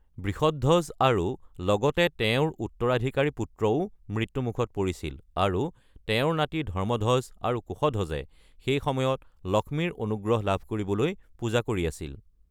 বৃষধ্বজ আৰু লগতে তেওঁৰ উত্তৰাধিকাৰী-পুত্ৰও মৃত্যুমুখত পৰিছিল, আৰু তেওঁৰ নাতি ধৰ্মধ্বজ আৰু কুশধ্বজে সেই সময়ত লক্ষ্মীৰ অনুগ্ৰহ লাভ কৰিবলৈ পূজা কৰি আছিল।